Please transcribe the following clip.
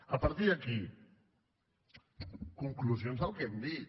a partir d’aquí conclusions del que hem dit